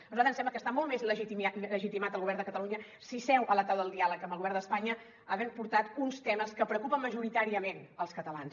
a nosaltres ens sembla que està molt més legitimat el govern de catalunya si seu a la taula del diàleg amb el govern d’espanya havent portat uns temes que preocupen majoritàriament els catalans